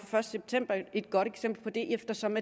første september et godt eksempel på det eftersom